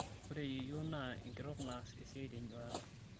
ore yieyio naa enkitok naas esiai tenyuata